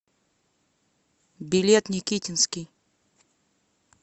билет никитинский